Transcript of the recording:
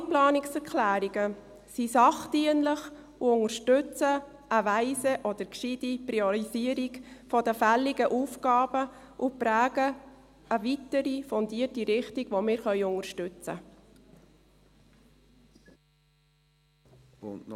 Alle Planungserklärungen sind sachdienlich und unterstützen eine weise oder gescheite Priorisierung der fälligen Aufgaben und prägen eine weitere fundierte Richtung, die wir unterstützen können.